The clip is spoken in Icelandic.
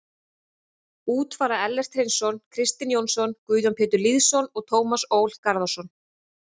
Út fara Ellert Hreinsson, Kristinn Jónsson, Guðjón Pétur Lýðsson og Tómas Ól Garðarsson.